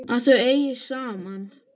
Að þau eigi saman.